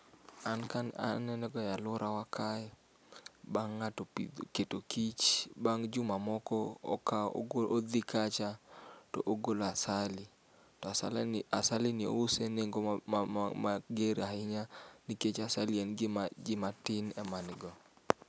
An ka aneno ga eluorawa kae bang' ng'ato pidho keto kich bang' juma moko akawo ogo odhi kacha to ogolo asali to asalini asalini ouse nengo ma ma mager ahinya nikech asali en gima ji matin emango.